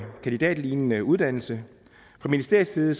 kandidatlignende uddannelse fra ministeriets side